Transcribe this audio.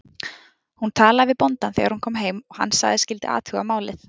Hún talaði við bóndann þegar hún kom heim og hann sagðist skyldi athuga málið.